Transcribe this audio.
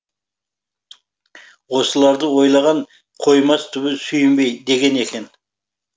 осыларды ойлаған қоймас түбі сүйінбей деген екен